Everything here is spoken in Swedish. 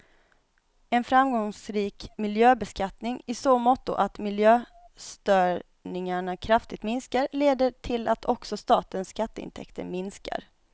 En framgångsrik miljöbeskattning, i så måtto att miljöstörningarna kraftigt minskar, leder till att också statens skatteintäkter minskar.